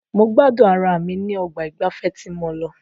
Mo gbádùn ara mi ní ọgbà ìgbafẹ́ tí mo lọ.